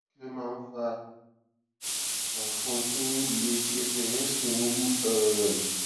kí ló máa ń fa òfun tó le tí ẹsè rè sì ń wú um